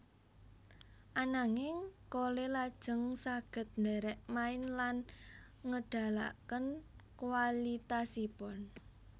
Ananging Cole lajeng saged ndherek main lan ngedalaken kualitasipun